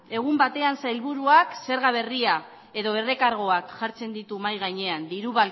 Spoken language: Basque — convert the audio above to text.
egun batean sailburuak zerga berria edo errekargoak jartzen ditu mahai gainean